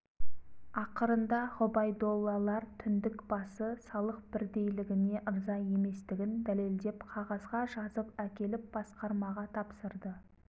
ақырында ғұбайдоллалар түндік басы салық бірдейлігіне ырза еместігін дәлелдеп қағазға жазып әкеліп басқармаға тапсырды